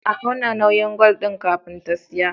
A auna nauyin gwal din kafin ta siya